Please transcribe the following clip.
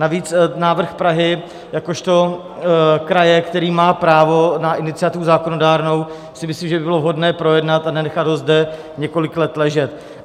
Navíc návrh Prahy jakožto kraje, který má právo na iniciativu zákonodárnou, si myslím, že by bylo vhodné projednat a nenechat ho zde několik let ležet.